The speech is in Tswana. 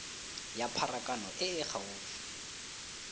ya pharakano e e gaufi